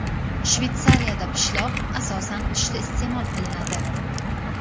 Shveysariyada pishloq asosan qishda iste’mol qilinadi.